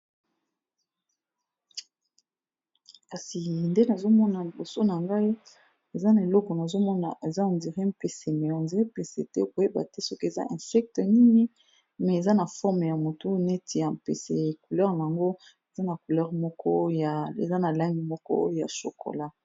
kasi nde nazomona liboso na ngai eza na eloko nazomona eza ondire mpese mionze mpese te koyeba te soki eza insecte nini me eza na forme ya motu neti ya mpese couleur nango acouleur eza na langi moko ya chokola